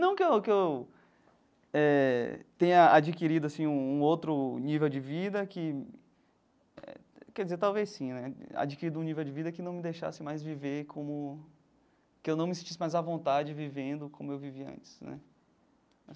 Não que eu que eu eh tenha adquirido assim um um outro nível de vida que, quer dizer, talvez sim né, adquirido um nível de vida que não me deixasse mais viver como, que eu não me sentisse mais à vontade vivendo como eu vivia antes né.